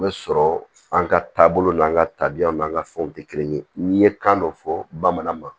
O bɛ sɔrɔ an ka taabolo n'an ka tabiyaw n'an ka fɛnw tɛ kelen ye n'i ye kan dɔ fɔ bamanan ma